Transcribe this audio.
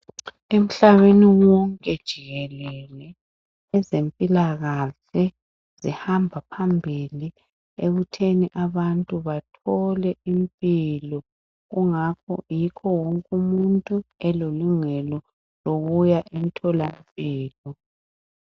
Emhlabeni wonke jikelele ezempilakahle ziyahamba phambili ekutheni abantu bathole impilo. Kungakho yikho wonke umuntu elelungelo lokuya emtholampilo.